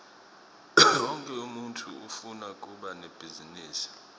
wonkhe umuntfu ufuna kuba nebhizinisi